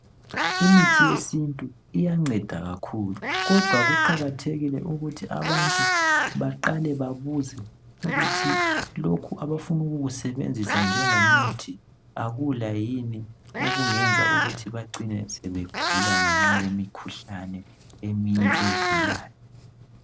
Imithi yesiNtu iyanceda kakhulu kodwa kuqakathekile ukuthi abantu baqale babuze ukuthi lokhu abafuna ukukusebenzisa njengomuthi akula yini okungenza ukuthi bacine sebegula ngenxa yemikhuhlane eminye evelayo.